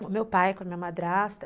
Com o meu pai, com a minha madrasta.